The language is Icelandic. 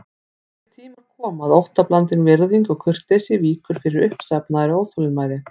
Þeir tímar koma að óttablandin virðing og kurteisi víkur fyrir uppsafnaðri óþolinmæði.